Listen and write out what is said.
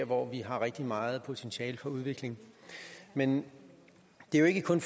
hvor vi har rigtig meget potentiale for udvikling men det er jo ikke kun